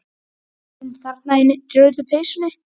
Hún þarna niðri í rauðu peysunni.